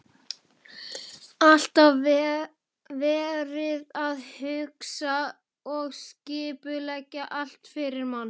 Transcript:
Alltaf verið að hugsa og skipuleggja allt fyrir mann.